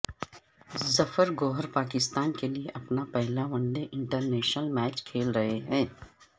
ظفر گوہر پاکستان کے لیے اپنا پہلا ون ڈے انٹرنیشنل میچ کھیل رہے ہیں